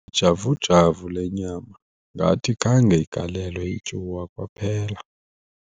Ijavujavu le nyama ngathi khange igalelwe ityuwa kwaphela.